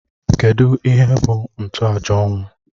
Kedụ ihe bụ ntoaja ọnwụ?